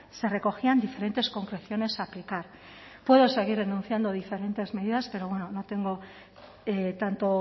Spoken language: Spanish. se recogían diferentes concreciones a aplicar puedo seguir denunciando diferentes medidas pero bueno no tengo tanto